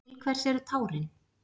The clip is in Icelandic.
Til hvers eru tárin?